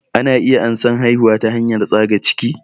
Ana iya ansan haihuwa ta hanyar tsaga ciki